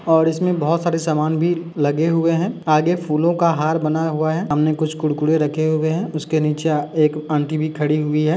और इसमें बोहोत सारे सामान भी लगे हुए हैं आगे फूलो का हार बना हुआ है हमने कुछ कुरकुरे रखे हुए है उसके नीचे एक आंटी भी खड़ी हुई है।